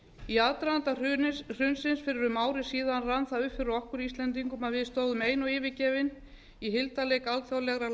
í aðdraganda hrunsins fyrir um ári síðan rann það upp fyrir okkur íslendingum að við stóðum ein og yfirgefin í hildarleik alþjóðlegrar